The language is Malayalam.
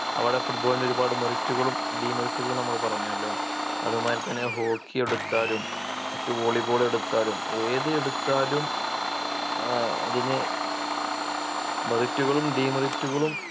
അവിടെ Football നൊരുപാട് Merit കളും Demerit കളും നമ്മൾ പറഞ്ഞല്ലോ അതുമാതിരി തന്നെ hockey എടുത്താലും മറ്റ് volley ball എടുത്താലും ഏതെടുത്താലും ഏർ അതിന് Merit കളും Demerit കളും